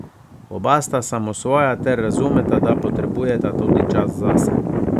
Oba sta samosvoja ter razumeta, da potrebujeta tudi čas zase.